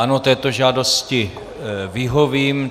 Ano, této žádosti vyhovím.